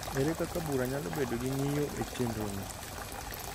Ere kaka bura nyalo bedo gi ng’iyo e chenrono